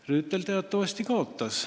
Rüütel teatavasti kaotas.